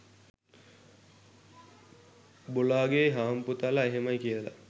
බොලාගේ හම්පුතල එහෙමයි කියල.